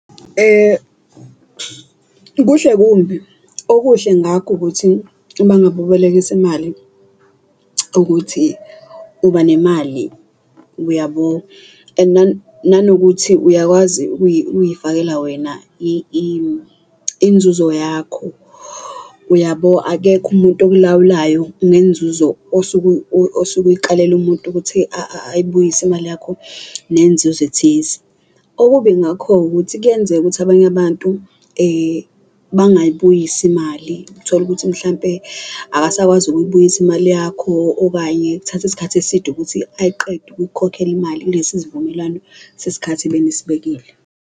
Kuhle kumbi okuhle ngakho ukuthi uma ngabe ubelekisa imali ukuthi uba nemali, uyabo? And nanokuthi uyakwazi ukuyifakela wena inzuzo yakho, uyabo? Akekho umuntu okulawulayo ngenzuzo osuke uyikalele umuntu ukuthi ayibuyise imali yakho nenzuzo ethize. Okubi ngakho-ke, ukuthi kuyenzeka ukuthi abantu bangayibuyisi imali, uthole ukuthi mhlampe akasakwazi ukuyibuyisa imali yakho, okanye uthatha isikhathi eside ukuthi ayiqede ukuyikhokhela imali kulesi sivumelwano sesikhathi ebenisibekile.